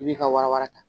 I b'i ka wara wara ta